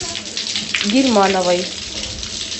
гильмановой